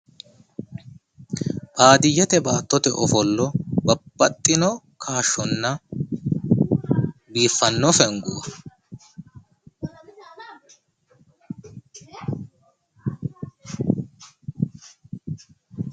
baaddiyete baattote ofollo babbaxxino kaashsonna biiffanno fengo.